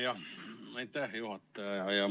Jah, aitäh, hea juhataja!